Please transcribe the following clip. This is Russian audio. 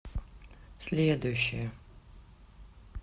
следующая